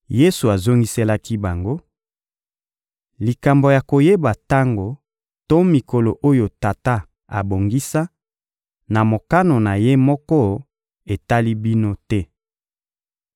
Yesu azongiselaki bango: — Likambo ya koyeba tango to mikolo oyo Tata abongisa, na mokano na Ye moko, etali bino te.